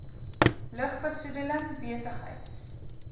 lug besoedeling besigheids